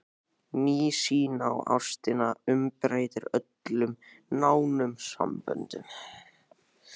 Ný sýn á ástina umbreytir öllum nánum samböndum.